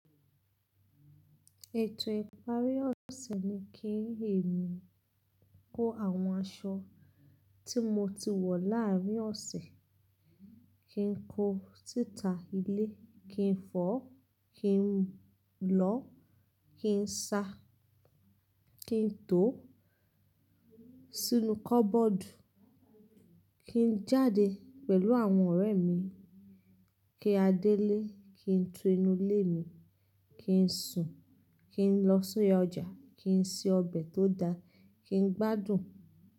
Ètò ìparí ọ̀sẹ̀ ni kí ẹ̀mi ko àwọn aṣọ tí mo ti wọ̀ láàárín ọ̀sẹ̀, kí n ko si ta ilé, kí n fọ́, kí n lọ, kí n sa, kí n to sínú kọ́bọ́ọ̀dù, kí n jáde pẹ̀lú àwọn ọ̀rẹ́ mi, kí a délé, kí n to inú ilé mi, kí n sùn, kí n lọ si oyà ọjà, kí n se ọbẹ̀ tó da, kí n gbádùn.